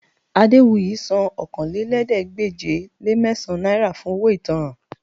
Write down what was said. Adéwuyì san Okòólélẹ́ẹ̀ẹ́dégbèje-le-mẹ́sàn-án náírà fún owó ìtanràn